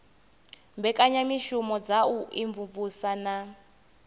mbekanyamushumo dza u imvumvusa na